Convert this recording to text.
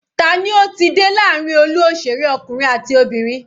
Tani ó ti dé láàrin olú òṣèré ọkùnrin àti obìnrin?